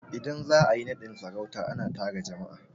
Idan za a yi naɗin sarauta, a na tara jama'a